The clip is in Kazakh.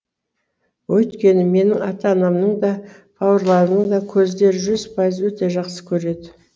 өйткені менің ата анамның да бауырларымның да көздері жүз пайыз өте жақсы көреді